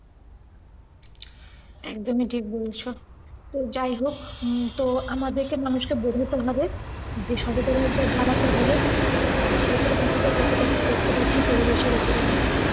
একদমই ঠিক বলেছ। তো যাই হোক তো আমাদেরকে মানুষকে বোঝাতে হবে, যে সচেতনতা জাগাতে হবে, তারপর দেখা যাক কতটা কি করতে পারছি পরিবেশের অপরে আমরা।